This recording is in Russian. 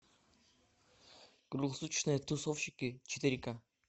круглосуточные тусовщики четыре ка